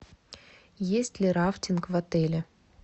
есть ли рафтинг в отеле